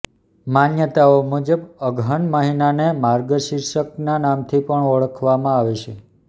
માન્યતાઓ મુજબ અગહન મહિનાને માર્ગશીર્ષના નામથી પણ ઓળખવામાં આવે છે